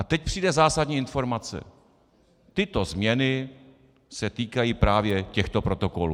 A teď přijde zásadní informace: "Tyto změny se týkají právě těchto protokolů."